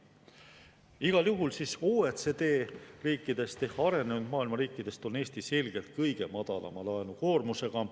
Igal juhul OECD riikidest ehk arenenud maailma riikidest on Eesti selgelt kõige madalama laenukoormusega.